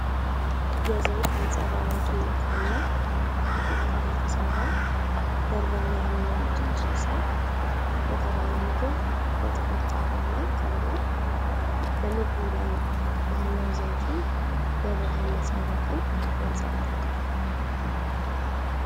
የዘይት አብረቅራቂነት ያለው ከቂጣ የተሰራ በርበሬ ያለው ጨጨብሳ የተባለው ምግብ በጥቁር ጣባ ላይ ቀርቧል። በምግቡ ላይ ያለው ዘይትም የብርሃን ነጸብራቅን ያንጸባርቃል።